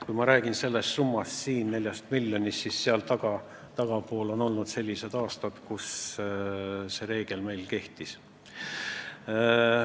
Kui ma räägin siin sellest summast, 4 miljonist, siis sellest tagapool on olnud sellised aastad, kui meil see reegel kehtis.